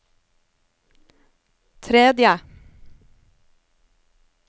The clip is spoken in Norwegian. tredje